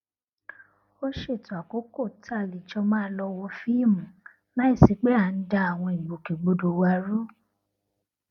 a ṣètò àkókò tá a lè jọ máa lọ wo fíìmù láìsí pé à ń da àwọn ìgbòkègbodò wa rú